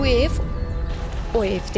Bu ev, o evdir.